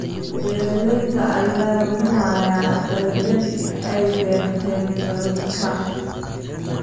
Beeraleyda ayaa luminaya dalagyadii ay beerteen daadadka.